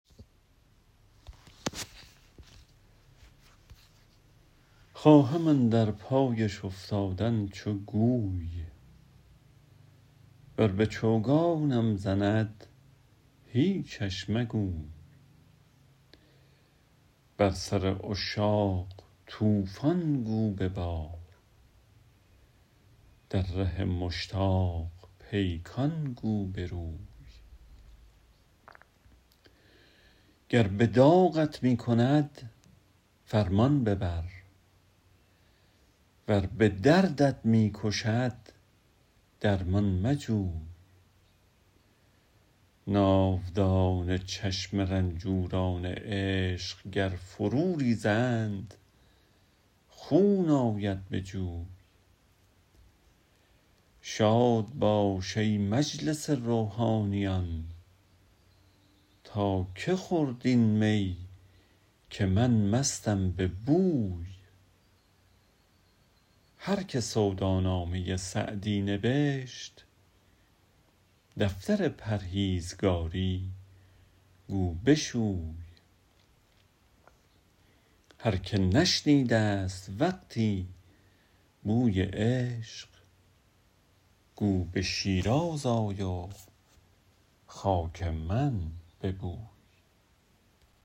خواهم اندر پایش افتادن چو گوی ور به چوگانم زند هیچش مگوی بر سر عشاق طوفان گو ببار در ره مشتاق پیکان گو بروی گر به داغت می کند فرمان ببر ور به دردت می کشد درمان مجوی ناودان چشم رنجوران عشق گر فرو ریزند خون آید به جوی شاد باش ای مجلس روحانیان تا که خورد این می که من مستم به بوی هر که سودا نامه سعدی نبشت دفتر پرهیزگاری گو بشوی هر که نشنیده ست وقتی بوی عشق گو به شیراز آی و خاک من ببوی